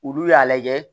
Olu y'a lajɛ